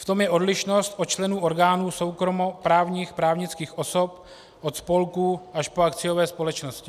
V tom je odlišnost od členů orgánů soukromoprávních právnických osob, od spolků až po akciové společnosti.